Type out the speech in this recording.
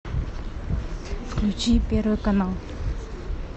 включи первый канал